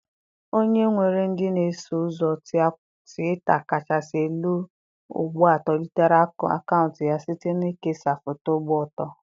Onye nwere ndị na-eso ụzọ Twitaa kachasị elu ugbu a tolitere akaụntụ ya site na ikesa foto gba ọtọ.